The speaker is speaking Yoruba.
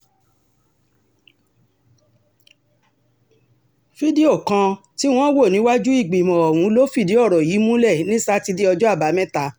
fídíò kan tí wọ́n wò níwájú ìgbìmọ̀ ọ̀hún ló fìdí ọ̀rọ̀ yìí múlẹ̀ ní sátidé ọjọ́ àbámẹ́ta